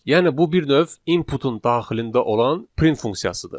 Yəni bu bir növ inputun daxilində olan print funksiyasıdır.